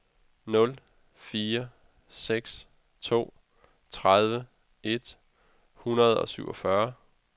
nul fire seks to tredive et hundrede og syvogfyrre